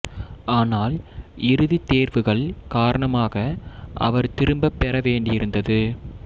ஆனால் இறுதி தேர்வுகள் காரணமாக அவர் திரும்பப் பெற வேண்டியிருந்தது